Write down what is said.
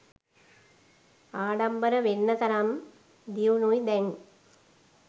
ආඩම්බර වෙන්න තරම් දියුණුයි දැන්